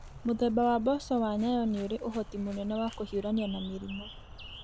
Mũthemba wa mboco wa nyayo nĩ irĩ ũhoti mũnene wa kũhiũrania na mĩrimũ.